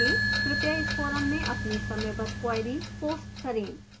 कृपया इस forum में अपनी समयबद्ध queries post करें